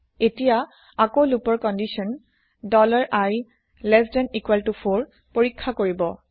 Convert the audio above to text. এতিয়া আকৌ লোপৰ কন্দিচ্যন i4 পৰীক্ষা কৰিব